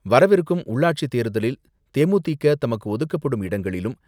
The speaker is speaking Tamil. வரவிருக்கும் உள்ளாட்சித் தேர்தலில் தே.மு.தி.க. தமக்கு ஒதுக்கப்படும் இடங்களிலும்,